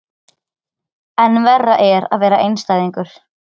En verra er að vera einstæðingur.